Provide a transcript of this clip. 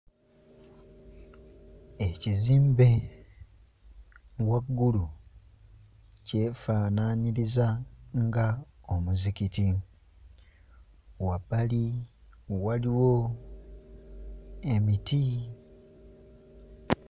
Ekizimbe waggulu kyefaanaanyiriza nga omuzikiti. Wabbali waliwo emiti.